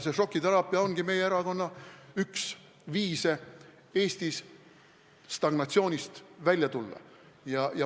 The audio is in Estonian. Šokiteraapia ongi meie erakonna üks viise Eesti stagnatsioonist välja tuua.